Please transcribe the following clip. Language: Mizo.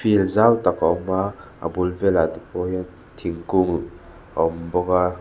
field zau tak a awm a a bul velah tepawh hiam thingkung a awm bawk a.